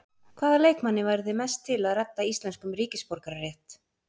Hvaða leikmanni væru þið mest til að redda íslenskum ríkisborgararétt?